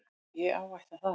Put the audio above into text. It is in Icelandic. Ég áætla það.